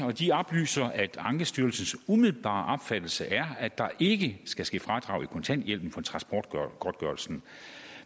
og de oplyser at ankestyrelsens umiddelbare opfattelse er at der ikke skal ske fradrag i kontanthjælpen for transportgodtgørelsen